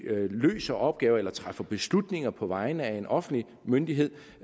løser opgaver eller træffer beslutninger på vegne af en offentlig myndighed